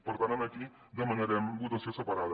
per tant aquí demanarem votació separada